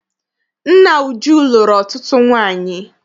Nna Uju lụrụ ọtụtụ nwaanyị.